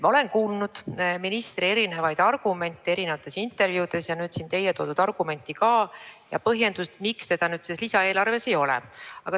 Ma olen kuulnud ministri eri argumente erinevates intervjuudes ja ka teie toodud argumenti ja põhjendust, miks seda selles lisaeelarves ei ole.